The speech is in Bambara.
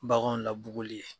Baganw labuguli ye.